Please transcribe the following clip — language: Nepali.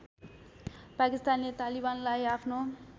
पाकिस्तानले तालिबानलाई आफ्नो